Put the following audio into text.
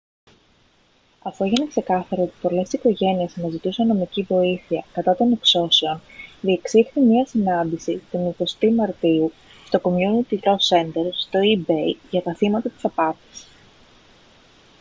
αφού έγινε ξεκάθαρο ότι πολλές οικογένειες αναζητούσαν νομική βοήθεια κατά των εξώσεων διεξήχθη μια συνάντηση την 20η μαρτίου στο community law center στο east bay για τα θύματα της απάτης